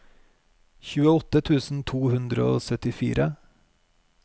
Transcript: tjueåtte tusen to hundre og syttifire